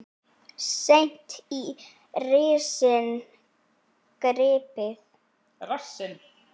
Seint í rassinn gripið.